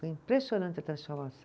Foi impressionante a transformação.